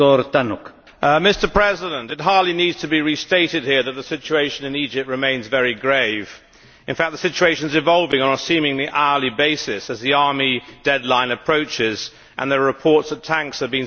Mr President, it hardly needs to be restated here that the situation in Egypt remains very grave. In fact the situation is evolving on a seemingly hourly basis as the army deadline approaches and there are reports that tanks are being seen on the streets.